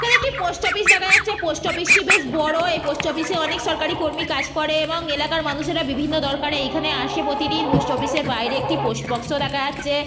তো একটি post office দেখা যাচ্ছে পোস্ট অফিস -টি বেশ বড় এ পোস্ট অফিস -এ অনেক সরকারি কর্মী কাজ করে এবং এলাকার মানুষেরা বিভিন্ন দরকারে এইখানে আসে প্রতিদিন পোস্ট অফিস -এর বাইরে একটি পোস্ট বক্স -ও দেখা যাচ্ছে।